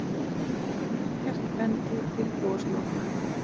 Ekkert bendi til gosloka.